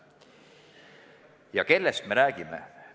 Ja kellest me räägime?